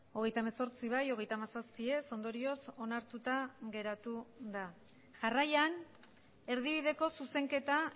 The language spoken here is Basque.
hogeita hemezortzi bai hogeita hamazazpi ez ondorioz onartuta geratu da jarraian erdibideko zuzenketa